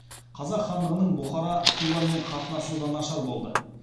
қазақ хандығының бұхара хиуамен қатынасы да нашар болды